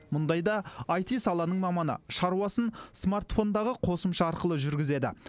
мұндайда аити саланың маманы шаруасын смартфондағы қосымша арқылы жүргізеді